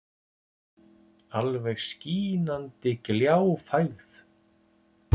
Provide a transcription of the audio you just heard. Alveg skínandi gljáfægð.